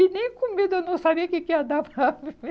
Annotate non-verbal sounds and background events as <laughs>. <laughs> E nem comendo, eu não sabia o que que ia dar para comer.